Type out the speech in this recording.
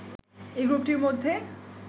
এ গ্রুপটির মধ্যে